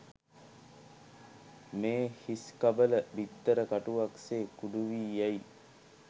මේ හිස්කබල, බිත්තර කටුවක් සේ කුඩු වී යයි.